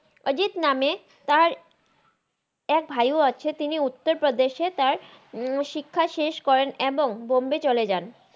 আজিত নামে তার এক ভাই অ আছে তিনি উত্তার রাদেশে তার শিক্ষা শেষ করেন এবং বম্বে ছলে জান